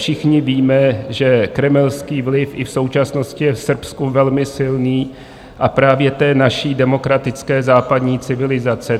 Všichni víme, že kremelský vliv i v současnosti je v Srbsku velmi silný, a právě té naší demokratické západní civilizace.